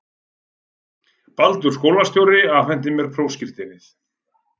Baldur skólastjóri afhenti mér prófskírteinið.